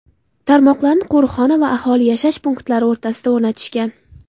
Tarmoqlarni qo‘riqxona va aholi yashash punktlari o‘rtasiga o‘rnatishgan.